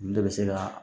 Olu de bɛ se ka